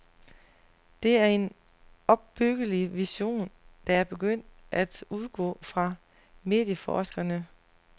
Det er en opbyggelig vision, der er begyndt at udgå fra medieforskerne.